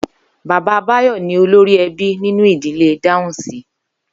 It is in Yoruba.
Bàbá Báyò̩ ni olórí e̩bí nínú ìdílé Dáhùnsi